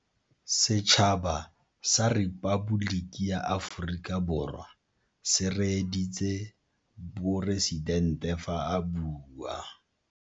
Setšhaba sa Repaboliki ya Aforika Borwa se reeditsê poresitente fa a bua.